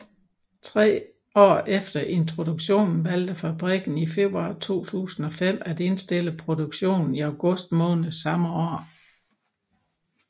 Tre år efter introduktionen valgte fabrikanten i februar 2005 at indstille produktionen i august måned samme år